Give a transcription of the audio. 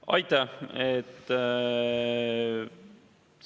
Aitäh!